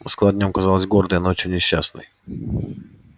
москва днём казалась гордой а ночью несчастной